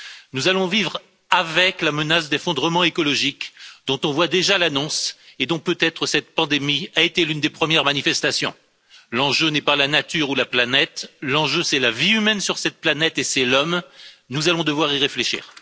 Nous allons vivre avec la menace d'effondrements écologiques dont on voit déjà l'annonce et dont peut être cette pandémie a été l'une des premières manifestations. L'enjeu n'est pas la nature ou la planète, l'enjeu, c'est la vie humaine sur cette planète et c'est l'homme, nous allons devoir y réfléchir.